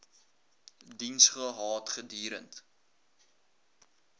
diens gehad gedurend